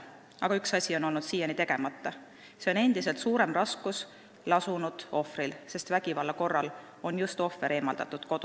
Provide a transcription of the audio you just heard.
Aga üks asi on siiani tegemata: raskemas olukorras on olnud ohver, sest vägivalla korral on just ohver kodust eemaldatud.